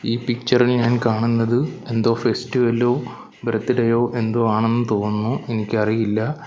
ഈ പിക്ചർ ഇൽ ഞാൻ കാണുന്നത് എന്തോ ഫെസ്റ്റിവലോ ബർത്ത്ഡേയോ എന്തോ ആണെന്നു തോന്നുന്നു എനിക്കറിയില്ല.